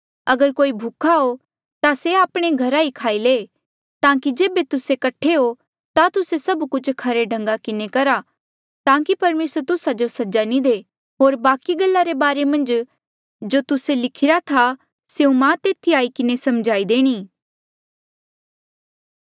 अगर कोई भूखा हो ता से आपणे घरा ई खाई ले ताकि जेबे तुस्से कठे हो ता तुस्से सब कुछ खरे ढंगा किन्हें करहा ताकि परमेसर तुस्सा जो सजा नी दे होर बाकि गल्ला रे बारे मन्झ जो तुस्से लिखिरा था स्यों मां तेथी आई किन्हें समझाई देणी